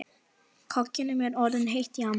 Kokkinum er orðið heitt í hamsi.